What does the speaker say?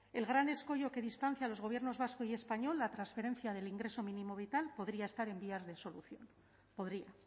el gran escollo que distancia a los gobiernos vasco y español la transferencia del ingreso mínimo vital podría estar en vías de solución podría